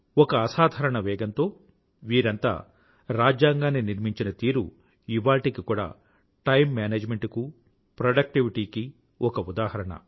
ఒక అసాధారణ వేగంతో వీరంతా రాజ్యాంగాన్ని నిర్మించిన తీరు ఇవాళ్టికి కూడా టైమ్ మేనేజ్మెంట్ కూ ప్రొడక్టివిటీ కీ ఒక ఉదాహరణ